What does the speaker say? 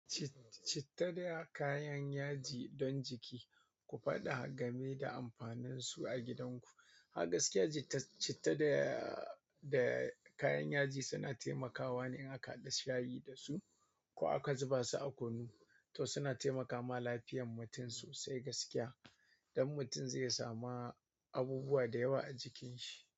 Citta dai a kayan yaji dan jiki ku faɗa game amfanin su a gidan ku agaskiya, citta da da kayan yaji suna taimakawa ne in aka haɗa shayi da su ko aka zuba su a kunu, to suna taimakawa lafiyan mutum sosai gaskiya. Don mutum zai samu abubuwa da yawa a jikin shi.